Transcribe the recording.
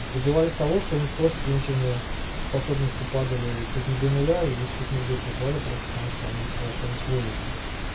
добивались того что у них просто коньюктивные способности падали чуть не до ноля и их чуть не в дурку клали просто потому что они превращались в овощи